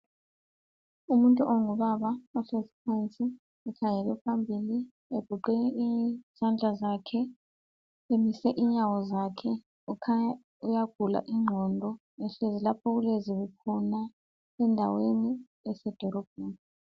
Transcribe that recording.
Umuntu ongubaba ohlezi phansi ekhangele phambili egoqe izandla zakhe, emise inyawo zakhe kukhanya uyagula ingqondo ehlezi lapho okulezibi khona endaweni yasedolobheni.